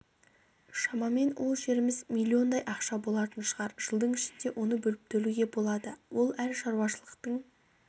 шамамен ол жеріміз миллиондай ақша болатын шығар жылдың ішінде оны бөліп төлеуге болады ол әр шаруашылықтың